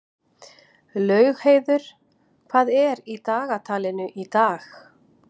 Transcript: Laugheiður, hvað er í dagatalinu í dag?